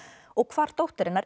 og hvar dóttir hennar